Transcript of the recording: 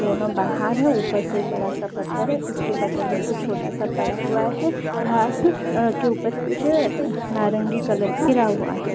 दोनो बाहर है ऊपर से बड़ा सा पत्थर है उसके बगल में कुछ छोटा सा पड़ा हुआ है घांस अ के ऊपर कुछ है नारंगी कलर का गिरा हुआ है।